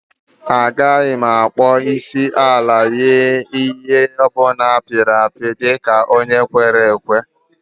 Agaghị m akpọ isiala nye ihe oyiyi ọ bụla a pịrị apị dị ka onye kwere ekwe